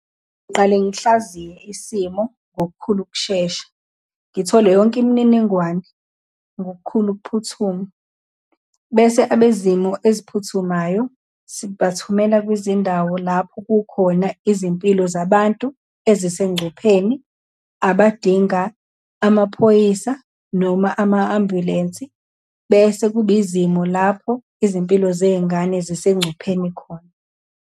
Ngiqale ngihlaziya isimo ngokukhulu ukushesha, ngithole yonke imininingwane ngokukhulu ukuphuthuma, bese abezimo eziphuthumayo sibathumelela kwizindawo lapho kukhona izimpilo zabantu ezisengcupheni, abadinga amaphoyisa, noma ama-ambulensi. Bese kuba izimo lapho izimpilo zey'ngane zisegcupheni khona.